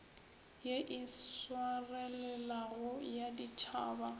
ye e swarelelago ya ditšhaba